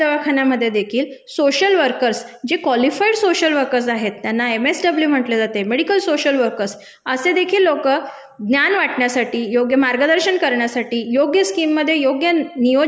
दवाखान्यामधेदेखील social workers जे qualified social workers आहेत त्यांना एमएसडब्लू म्हंटले जाते मेडिकल सोशिअल वर्कर्स, असे देखील लोकं ज्ञान वाटण्यासाठी, योग्य मार्गदर्शन करण्यासाठी, योग्य स्कीममधे योग्य